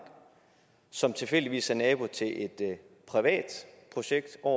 som tilfældigvis er nabo til et privat projekt og